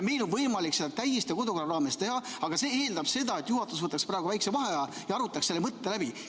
Meil on võimalik seda täiesti kodukorra raames teha, aga see eeldab seda, et juhatus võtaks praegu väikese vaheaja ja arutaks selle mõtte läbi.